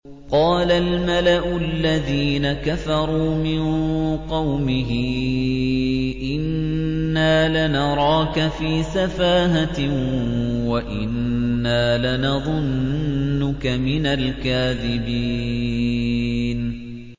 قَالَ الْمَلَأُ الَّذِينَ كَفَرُوا مِن قَوْمِهِ إِنَّا لَنَرَاكَ فِي سَفَاهَةٍ وَإِنَّا لَنَظُنُّكَ مِنَ الْكَاذِبِينَ